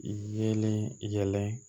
Yeelen yɛlɛ